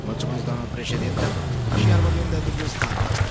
Doamnă președintă, și iar vorbim de dublul standard.